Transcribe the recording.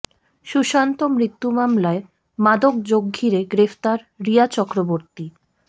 সুশান্ত মৃত্যু মামলায় মাদক যোগ ঘিরে গ্রেফতার রিয়া চক্রবর্তী